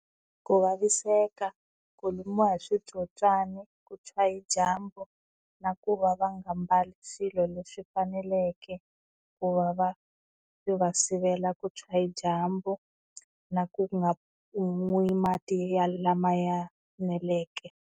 Ku vaviseka, ku lumiwa hi switsotswani, ku tshwa hi dyambu na ku va va nga mbali swilo leswi faneleke, ku va va va sivela ku tshwa hi dyambu na ku nga n'wi mati lama ya eneleke.